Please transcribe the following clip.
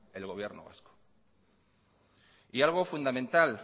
el gobierno vasco y algo fundamental